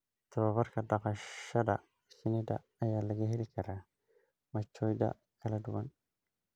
Tababarka dhaqashada shinnida ayaa laga heli karaa machadyo kala duwan.